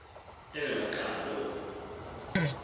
elona xa loku